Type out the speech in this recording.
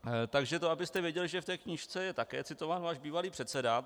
Takže to abyste věděli, že v té knížce je také citován váš bývalý předseda.